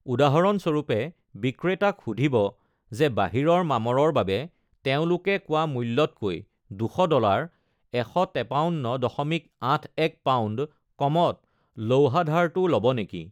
উদাহৰণস্বৰূপে, বিক্ৰেতাক সুধিব যে বাহিৰৰ মামৰৰ বাবে তেওঁলোকে কোৱা মূল্যতকৈ ২০০ ডলাৰ (১৫৩.৮১ পাউণ্ড) কমত লৌহাধাৰটো ল’ব নেকি।